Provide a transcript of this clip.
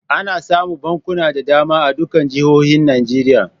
Ana samun bankuna da dama a dukkan jihohi Najeriya.